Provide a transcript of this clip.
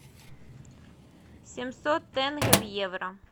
семьсот тенге в евро